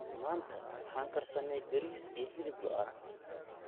Maanta waxaan karsannay bariis iyo hilib lo'aad.